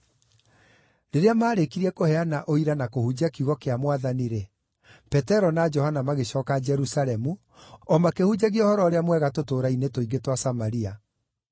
Rĩrĩa maarĩkirie kũheana ũira na kũhunjia kiugo kĩa Mwathani-rĩ, Petero na Johana magĩcooka Jerusalemu, o makĩhunjagia Ũhoro-ũrĩa-Mwega tũtũũra-inĩ tũingĩ twa Samaria.